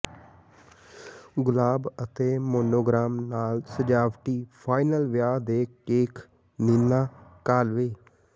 ਗੁਲਾਬ ਅਤੇ ਮੋਨੋਗ੍ਰਾਮ ਨਾਲ ਸਜਾਵਟੀ ਫਾਈਨਲ ਵਿਆਹ ਦੇ ਕੇਕ ਨੀਨਾ ਕਾਲਵੇਅ